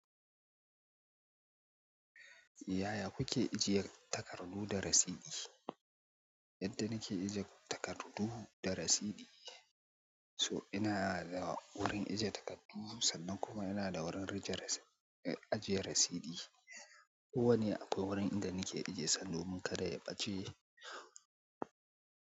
Yaya kuke ajiye takardu da rasiti? Yadda nake ajiye takardu da rasiti, to ina da wurin ajiye takardu sannan kuma ina da wurin ajiye rasiti. Ko wane akwai wurin inda nake ajiye sabo kada ya ɓace.